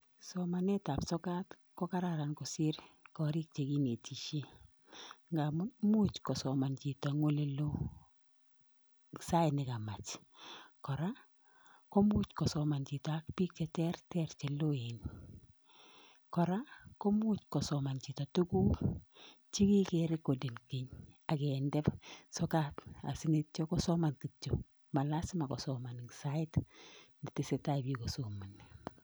Somanetab sokat kokararan kosiir korikchik chekinetishien ,ngamun imuch kosoman chito en oleloo Sait nekamach. Koraa komuch kosoman chito ak bik cheterter ak cheloen. Kora komuch kosoman chito tuguuk chekiker kole mii ak kindee sokat yeityoo kosoman kityok malasima kosoman en sait netesetai biik kosomonii.